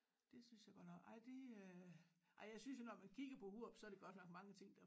Det synes jeg godt nok ej det øh ej jeg synes jo når man kigger på Hurup så det godt nok mange ting der